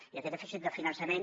i aquest dèficit de finançament